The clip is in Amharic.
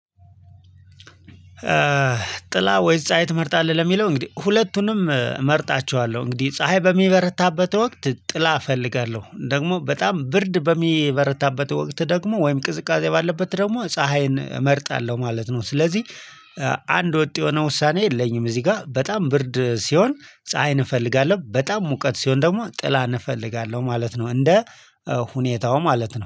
ጥላ ወይስ ፀሀይ ትመርጣለህ? ለሚለው እንግዲህ ሁለቱንም እመርጣቸዋለሁ እንግዲህ ፀሀይ በሚበረታበት ወቅት ጥላ እፈልጋለሁ ደግሞ በጣም ብርድ በሚበረታበት ወቅት ደግሞ ወይም ቅዝቃዜ ባለበት ደግሞ ፀሀይን እመርጣለሁ ማለት ነው። ስለዚህ አንድ ወጥ የሆነ ውሳኔ የለኝም። እዚህ ጋር በጣም ብርድ ሲሆን ፀሀይን እንፈልጋለን በጣም ሙቀት ሲሆን ደግሞ ጥላ እንፈልጋለሁ ማለት ነው። እንደ ሁኔታው ማለት ነው